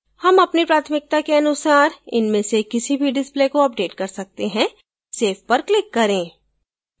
हम अपनी प्राथमिकता के अनुसार इनमें से किसी भी displays को अपडेट कर सकते हैं save पर click करें